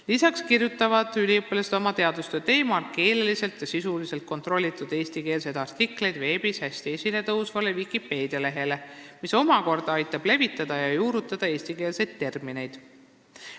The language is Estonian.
Lisaks kirjutavad üliõpilased oma teadustöö teemal keeleliselt ja sisuliselt kontrollitud eestikeelseid artikleid veebis hästi esile tõusvale Wikipedia lehele, mis omakorda aitab levitada ja juurutada eestikeelseid termineid.